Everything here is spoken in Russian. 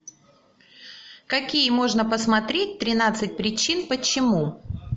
какие можно посмотреть тринадцать причин почему